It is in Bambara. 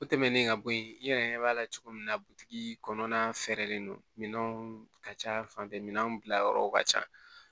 O tɛmɛnen ka bɔ yen i yɛrɛ ɲɛ b'a la cogo min na butigi kɔnɔna fɛrɛlen don minɛnw ka ca fanfɛ minɛnw bila yɔrɔw ka ca